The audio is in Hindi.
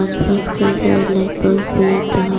बस कई सारे लाइट बल्ब भीतर।